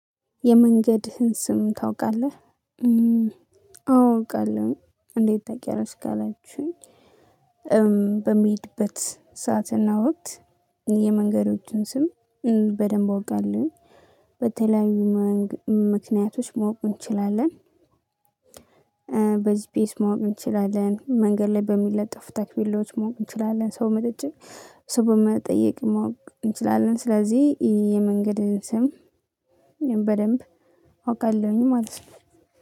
የመንገድህን ስም ታውቃለህ? አዎ አውቃለሁኝ እንዴት ታውቂያለሽ ካላችሁኝ በምሄድበት ሰዓትና ወቅት የመንገዶችን ስም በደንብ አውቃለሁ በተለያዩ ምክንያቶች ማወቅ እንችላለን ቤት መሆን እንችላለን መንገድ ላይ በሚለጠፉ ታፔላዎች ማወቅ እንችላለን ሰው መጠጪ ሰው በመጠየቅ ማወቅ እንችላለን ስለዚህ የመንገድን ስም በደንብ አውቃለሁኝ ማለት ነው